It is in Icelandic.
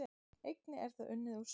Einnig er það unnið úr sjó